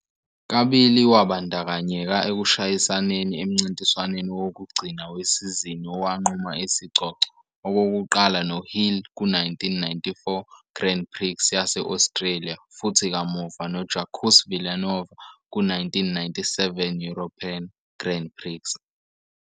Kabili, wabandakanyeka ekushayisaneni emncintiswaneni wokugcina wesizini owanquma isicoco, okokuqala noHill ku-1994 Grand Prix yase-Australia futhi kamuva noJacques Villeneuve ku-1997 European Grand Prix.